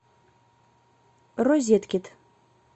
розеткид